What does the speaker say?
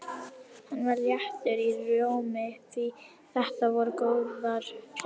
Hann var léttur í rómi því þetta voru góðar fréttir.